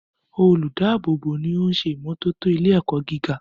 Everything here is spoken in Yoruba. Olùdáàbò bò ni oún ṣe ìmójútó ilé ẹ̀kọ́ gíga